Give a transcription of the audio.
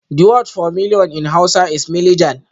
The word for million in hausa is milijan